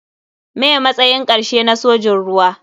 Me matsayin karshe na sojin ruwa.